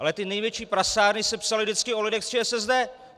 Ale ty největší prasárny se psaly vždycky o lidech z ČSSD.